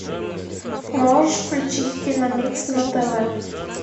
можешь включить киномикс на тв